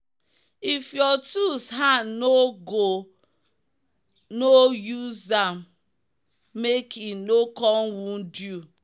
if your tools hand no go no use am make e no come wound you.